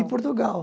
De Portugal.